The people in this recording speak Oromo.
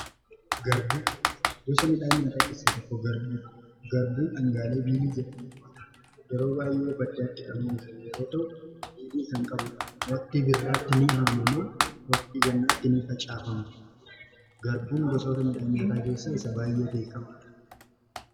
gosa midhaan yaataa keessaa tokko garbuun dhangaalee biilii jedhamu yeroo baay'ee baddaaatti kan oomishamu yeroo ta'u kan walitti waqtii birraatti ni haamama. waqtii gannaatti ni facaafama. garbuun gosa midhaan nyaataa keessaa isa baay'ee beekamadha.